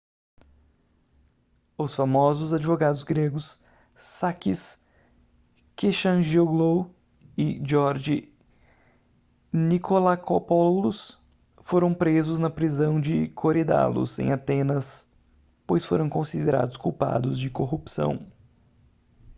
os famosos advogados gregos sakis kechagioglou e george nikolakopoulos foram presos na prisão de korydallus em atenas pois foram considerados culpados de corrupção